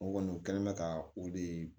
O kɔni u kɛlen bɛ ka o de